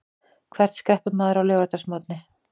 Hvert skreppur maður á laugardagsmorgni?